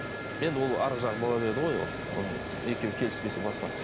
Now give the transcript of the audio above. енді ол арғы жағы бола береді ғой ол екеуі келіспесе басқа